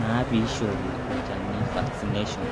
naa pee eishori olchani vaccination,